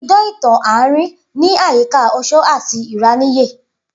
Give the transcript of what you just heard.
Idan itan aarin ni ayika oṣó ati ìráníyè.